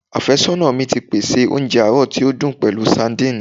Afẹsọna mi ti pese ounjẹ aarọ ti o dun pẹlu sadìnìnnì